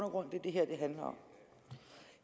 og grund det det her handler om